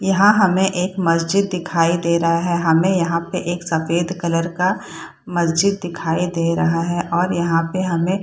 यहाँ हमे एक मस्जिद दिखाई दे रहा हमें यहाँ पे एक सफेद कलर का मस्जिद दिखाई दे रहा है और यहाँ पे हमे --